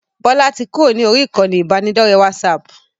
Bọlá tí kúrò ní orí ìkànnì ibanidọ̀rẹ́ WhatsApp